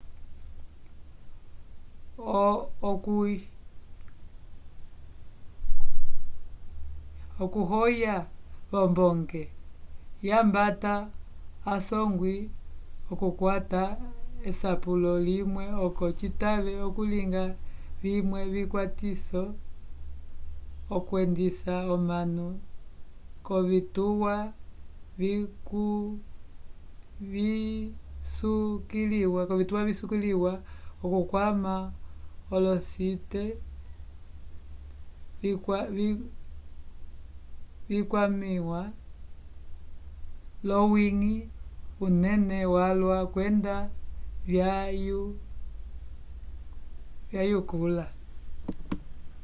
okuhoya v'ombonge yambata asongwi okukwata esapelo limwe oco citave okulinga vimwe vikwatiso okwendisa omanu k'ovituwa visukiliwa okukwama olosite vikwamĩwa l'owiñgi unene calwa kwenda vyayikula